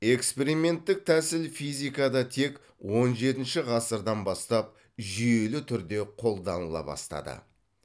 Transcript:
эксперименттік тәсіл физикада тек он жетінші ғасырдан бастап жүйелі түрде қолданыла бастады